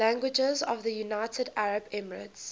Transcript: languages of the united arab emirates